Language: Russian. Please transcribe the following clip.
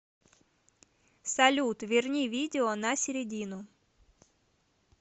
салют верни видео на середину